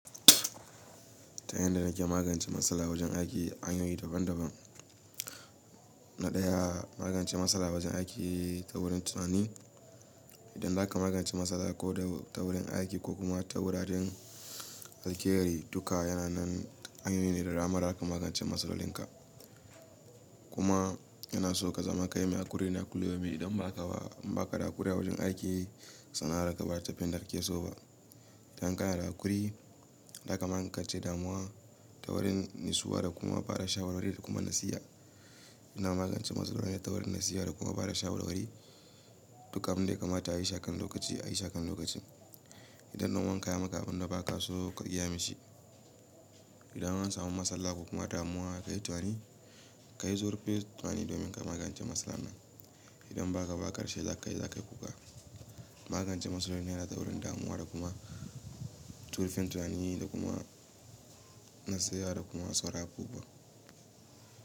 Ta yanda nake magance matsala wajen aiki hanyoyi daban-daban. Na ɗaya, magance matsala wajen aiki ta wurin tunani. Idan zaka magance matsala ko da ta wurin aiki ko kuma ta wuraren zalkehari, duka yana nan hanyoyi ne da dama da zaka magance matsalolinka. Kuma yana so ka zama kai mai haƙuri da kullu yaumin, idan ba ka ba baƙa haƙuri a wajen aiki, suna rakaba tafin da ake so ba. Idan kana da haƙuri, zaka magance damuwa ta wurin natsuwa da kuma bada shawarwari da kuma nasiha. Ina magance matsaloli ne ta wurin nasiha da kuma bada shawarwari. Duka abin da ya kamata a yi shi akan lokaci, a yi shi akan lokaci. Idan dan uwanka yayi maka abinda ba ka so ka iya mishi, idan an samu matsala ko kuma damuwa kayi tunani, ka yi zurfin tunani domin ka magance matsalar nan. Idan ba haka a ƙarshe, za ka yi kuka. Magance matsaloli ne ta wurin damuwa da kuma zurfin tunani da kuma nasiha da kuma sauraro kuma.